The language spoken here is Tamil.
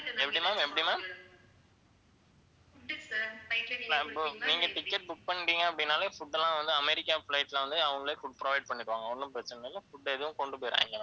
நீங்க ticket book பண்ணிட்டீங்க அப்படின்னாலே food எல்லாம் வந்து அமெரிக்கா flight ல வந்து அவங்களே food provide பண்ணிடுவாங்க ஒண்ணும் பிரச்சனை இல்லை food எதுவும் கொண்டு போயிடாதீங்க